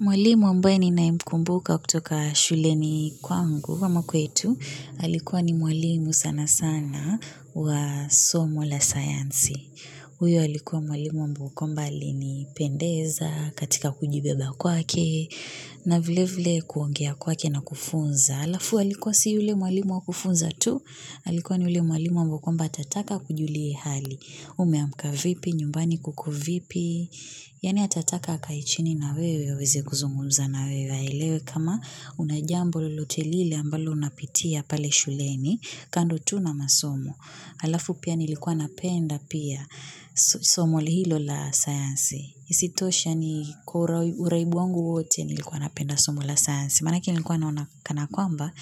Mwalimu ambaye ni naye mkumbuka kutoka shuleni kwangu. Ama kwetu, alikuwa ni mwalimu sana sana wa somo la sayansi. Huyo alikuwa mwalimu mbao kwamba ali ni pendeza, katika kujibeba kwake, na vile vile kuongea kwake na kufunza. Alafu alikuwa si yule mwalimu wa kufunza tu, alikuwa ni yule mwalimu mbao kwamba atataka akujulie hali. Umeamka vipi, nyumbani kuko vipi, yani atataka akae chini na wewe aweze kuzungumza na wewe aelewe kama una jambo lolotelile ambalo unapitia pale shuleni kando tu na masomo. Alafu pia nilikuwa napenda pia somo li hilo la sayansi isitoshe yani kwa uraibu wangu wote nilikuwa napenda somo la sayansi maanake nilikuwa naona kana kwamba